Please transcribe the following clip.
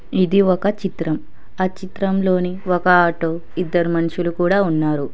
ఇది ఒక చిత్రం ఆ చిత్రంలోని ఒక ఆటో ఇద్దరు మనుషులు కూడా ఉన్నారు.